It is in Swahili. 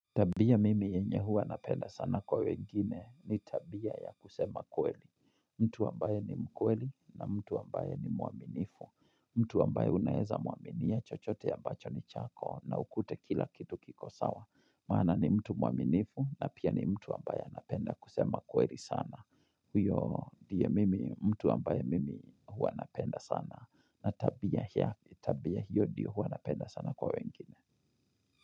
Tabia mimi yenye huwa napenda sana kwa wengine ni tabia ya kusema kweli. Mtu ambaye ni mkweli na mtu ambaye ni mwaminifu. Mtu ambaye unaeza mwaminia chochote ambacho ni chako na ukute kila kitu kiko sawa. Maana ni mtu mwaminifu na pia ni mtu ambaye anapenda kusema kweli sana. Huyo ndiye mimi mtu ambaye mimi huwa napenda sana. Na tabia hiyo ndiyo huwa napenda sana kwa wengine.